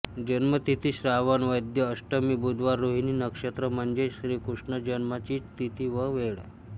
जन्म तिथी श्रावण वद्य अष्टमी बुधवार रोहिणी नक्षत्र म्हणजेच श्रीकृष्ण जन्माचीच तिथी व वेळ